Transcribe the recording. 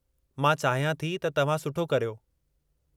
मां चाहियां थी त तव्हां सुठो करियो।